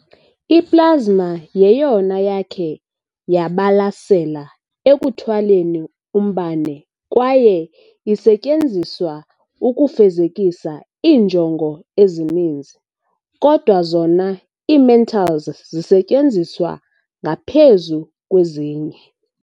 I-Plasma yeyona yakhe yabalasela ekuthwaleni umbane kwaye isetyenziswa ukufezekisa iinjongo ezininzi kodwa zona ii-mentals zisetyenziswa ngaphezu kwezinye.